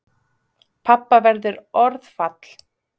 Pabba verður orðfall.